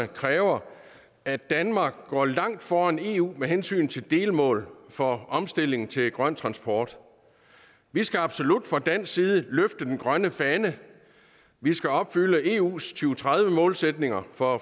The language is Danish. kræver at danmark går langt foran eu med hensyn til delmål for omstilling til grøn transport vi skal absolut fra dansk side løfte den grønne fane vi skal opfylde eus to tredive målsætninger for